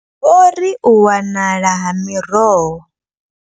Vho ri u wanala ha miroho.